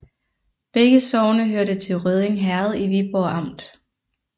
Begge sogne hørte til Rødding Herred i Viborg Amt